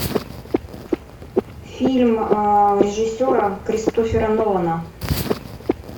фильм режиссера кристофера нолана